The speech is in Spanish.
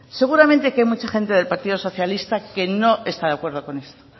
seguramente que hay mucha gente del partido socialista que no está de acuerdo con esto